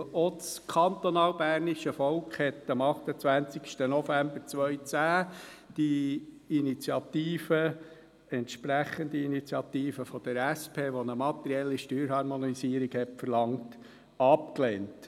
Auch das kantonalbernische Volk hat am 28. November 2010 die Initiative, die entsprechende Initiative der SP, welche eine materielle Steuerharmonisierung verlangt hat, abgelehnt.